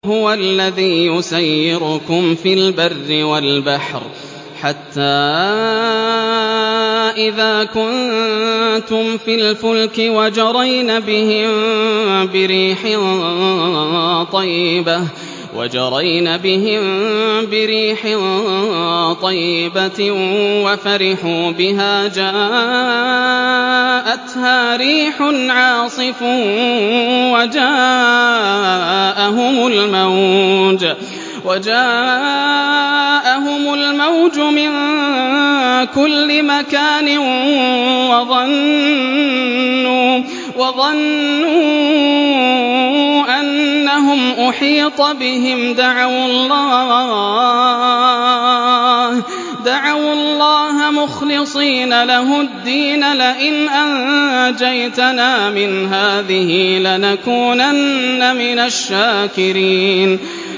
هُوَ الَّذِي يُسَيِّرُكُمْ فِي الْبَرِّ وَالْبَحْرِ ۖ حَتَّىٰ إِذَا كُنتُمْ فِي الْفُلْكِ وَجَرَيْنَ بِهِم بِرِيحٍ طَيِّبَةٍ وَفَرِحُوا بِهَا جَاءَتْهَا رِيحٌ عَاصِفٌ وَجَاءَهُمُ الْمَوْجُ مِن كُلِّ مَكَانٍ وَظَنُّوا أَنَّهُمْ أُحِيطَ بِهِمْ ۙ دَعَوُا اللَّهَ مُخْلِصِينَ لَهُ الدِّينَ لَئِنْ أَنجَيْتَنَا مِنْ هَٰذِهِ لَنَكُونَنَّ مِنَ الشَّاكِرِينَ